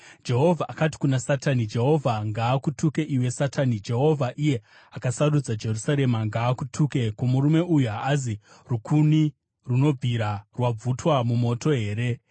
Jehovha akati kuna Satani, “Jehovha ngaakutuke iwe, Satani! Jehovha, iye akasarudza Jerusarema, ngaakutuke! Ko, murume uyu haazi rukuni runobvira rwabvutwa mumoto here?”